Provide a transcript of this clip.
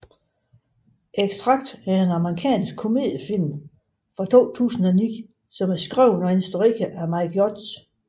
Extract er en amerikansk komediefilm fra 2009 skrevet og instrueret af Mike Judge